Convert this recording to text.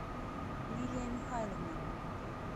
лилия михайловна